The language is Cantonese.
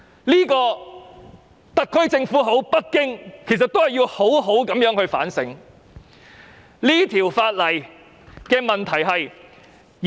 這是特區政府或北京要好好反省的問題。